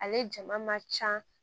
Ale jama man ca